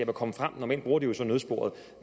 komme frem normalt bruger de nødsporet